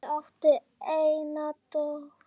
Þau áttu eina dóttur.